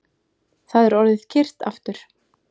Það er orðið kyrrt aftur